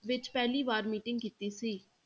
ਵਿੱਚ ਪਹਿਲੀ ਵਾਰ meeting ਕੀਤੀ ਸੀ।